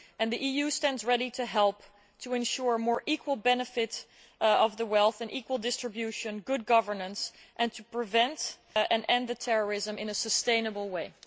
The EU stands ready to help to ensure more equal benefit from wealth and more equal distribution and good governance and to prevent and end the terrorism in a sustainable way.